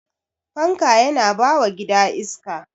fanka Yana bawa gida iska